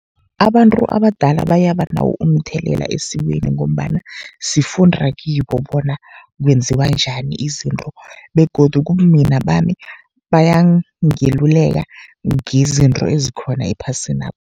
Abantu abadala bayaba nawo umthelela esikweni, ngombana sifunda kibo bona kwenziwa njani izinto, begodu kubumina bami bayangeluleka ngezinto ezikhona ephasinapha.